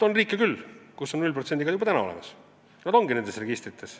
On riike küll, kus on tulumaks 0% juba praegu, ja nad ongi nende riikide registrites.